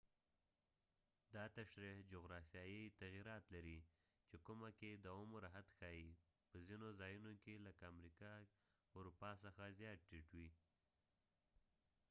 دا تشریح جغرافیايي تغیرات لري چې کومه کې د عمر حد ښايي په ځنو ځایونو کې لکه امریکه کې اروپا څخه زیات ټیټ وي